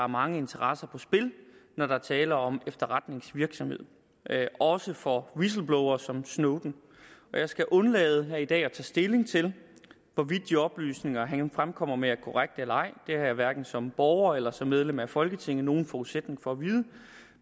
mange interesser på spil når der er tale om efterretningsvirksomhed også for whistleblowere som snowden jeg skal undlade her i dag at tage stilling til hvorvidt de oplysninger han fremkommer med er korrekte eller ej det har jeg hverken som borger eller som medlem af folketinget nogen forudsætning for at vide